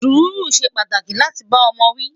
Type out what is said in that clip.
Suru ṣé pàtàkì láti bá ọmọ wi